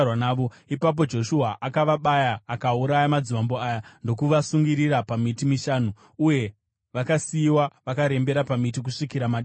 Ipapo Joshua akavabaya akauraya madzimambo aya ndokuvasungirira pamiti mishanu, uye vakasiyiwa vakarembera pamiti kusvikira madekwana.